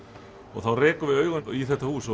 og þá rekum við augun í þetta hús